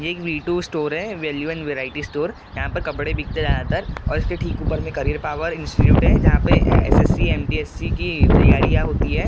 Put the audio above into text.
ये एक V two store है वैल्यू एंड वैरायटी स्टोर यहाँ पर कपड़े बिकते हैं ज्यादातर और इसके ठीक ऊपर में करेयर पावर इंस्टिट्यूट है जहाँ पर एसएससी एमटीएससी की तैयारियां होती है।